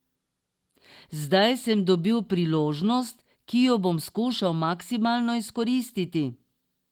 Zdaj sem dobil priložnost, ki jo bom skušal maksimalno izkoristiti.